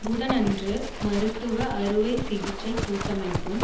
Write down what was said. புதனன்று மருத்துவ அறுவை சிகிச்சை கூட்டமைப்பும்